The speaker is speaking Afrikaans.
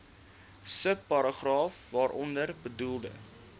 subparagraaf waaronder bedoelde